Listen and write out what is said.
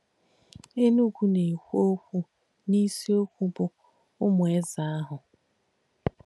Ènùgù nà-èkwú okwú n’ísìokwú bụ̀ “Ụ̀mù Éze àhù.”